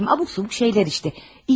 Nə bilim, abuk-subuk şeylər işte.